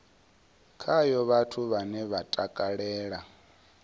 khayo vhathu vhane vha takalela